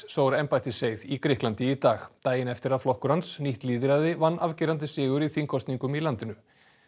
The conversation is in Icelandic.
sór embættiseið í Grikklandi í dag daginn eftir að flokkur hans nýtt lýðræði vann afgerandi sigur í þingkosningum í landinu